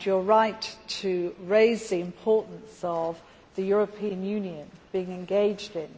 You are right to raise the importance of the European Union being engaged in